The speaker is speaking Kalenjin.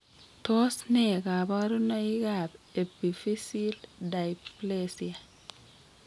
Tos nee kabarunaik ab Epiphyseal dysplasia ?